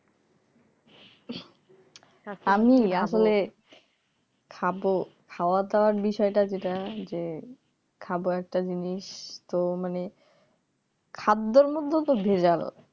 আমি আসলে খাব খাওয়া দাওয়ার বিষয়টা যেটা যে খাবো একটা জিনিস তো মানে খাদ্যের মধ্যেও তো ভেজাল